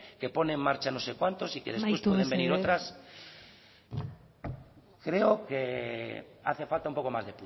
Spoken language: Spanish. que pone en marcha no sé cuántos y que después pueden venir otras amaitu mesedez creo que hace falta un poco más